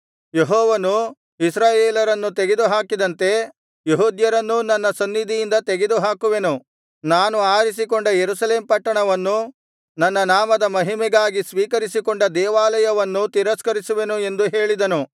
ಯೆಹೋವನು ಇಸ್ರಾಯೇಲರನ್ನು ತೆಗೆದುಹಾಕಿದಂತೆ ಯೆಹೂದ್ಯರನ್ನೂ ನನ್ನ ಸನ್ನಿಧಿಯಿಂದ ತೆಗೆದುಹಾಕುವೆನು ನಾನು ಆರಿಸಿಕೊಂಡ ಯೆರೂಸಲೇಮ್ ಪಟ್ಟಣವನ್ನೂ ನನ್ನ ನಾಮದ ಮಹಿಮೆಗಾಗಿ ಸ್ವೀಕರಿಸಿಕೊಂಡ ದೇವಾಲಯವನ್ನೂ ತಿರಸ್ಕರಿಸುವೆನು ಎಂದು ಹೇಳಿದನು